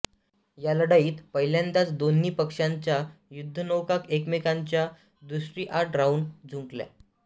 या लढाईत पहिल्यांदाच दोन्ही पक्षाच्या युद्धनौका एकमेकांच्या दृष्टिआड राहून झुंजल्या